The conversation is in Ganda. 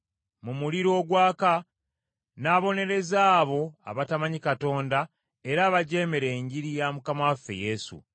mu muliro ogwaka, n’abonereza abo abatamanyi Katonda era abajeemera Enjiri ya Mukama waffe Yesu.